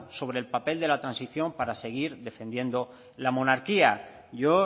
sobre el papel de la transición para seguir defendiendo la monarquía yo